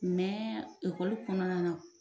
Mɛ ekɔli kɔnɔna na